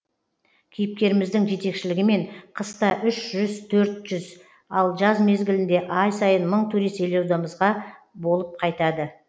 кейіпкеріміздің жетекшілігімен қыста үш жүз төрт жүз ал жаз мезгілінде ай сайын мың турист елордамызда болып қайтады